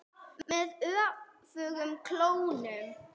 Með öfugum klónum.